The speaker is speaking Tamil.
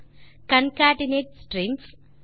concatenate strings